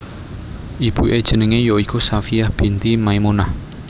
Ibuke jenenge ya iku Shafiyyah binti Maimunah